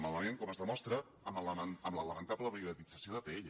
malament com es demostra amb la lamentable privatització d’atll